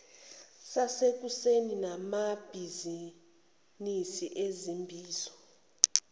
sasekuseni nabamabhizinisi izimbizo